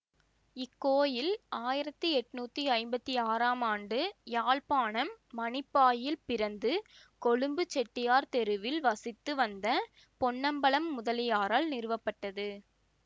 இக்கோயில் ஆயிரத்தி எட்நூத்தி ஐம்பத்தி ஆறாம் ஆண்டு யாழ்ப்பாணம் மானிப்பாயில் பிறந்து கொழும்பு செட்டியார் தெருவில் வசித்து வந்த பொன்னம்பலம் முதலியாரால் நிறுவப்பட்டது